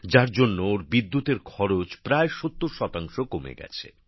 যার জন্য ওঁর বিদ্যুতের খরচ প্রায় ৭০ শতাংশ কমে গেছে